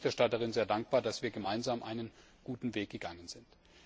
Ich bin der Berichterstatterin sehr dankbar, dass wir gemeinsam einen guten Weg gegangen sind.